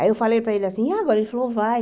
Aí eu falei para ele assim, agora ele falou, vai.